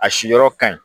A si yɔrɔ ka ɲi